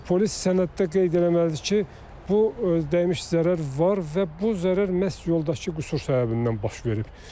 Polis sənəddə qeyd eləməlidir ki, bu dəymiş zərər var və bu zərər məhz yoldakı qüsur səbəbindən baş verib.